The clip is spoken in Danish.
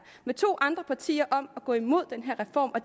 med to andre partier om at gå imod den her reform og